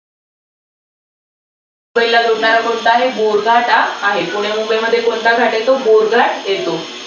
पहिला जोडणारा कोणता आहे? बोरघाटा आहे. पुणे, मुंबईमध्ये कोणता घाट येतो? बोरघाट.